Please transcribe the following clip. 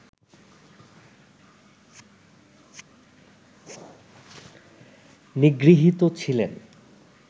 নিগৃহীত ছিলেন